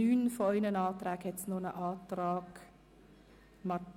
Zu diesem Artikel liegen weniger Anträge vor.